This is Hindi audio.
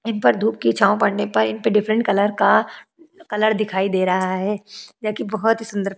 जिन पर धूप की छांव पड़ने पर इन पे डिफरेंट कलर का कलर दिखाई दे रहा है जो की बहुत ही सुंदर --